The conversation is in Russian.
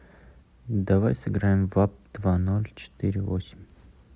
давай сыграем в апп два ноль четыре восемь